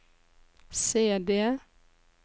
CD